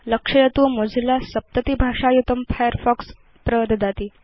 लक्षयतु मोजिल्ला सप्ततिभाषायुतं फायरफॉक्स प्रददाति